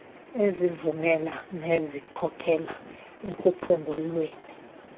ezivumela nezikhokelela ekuphungulweni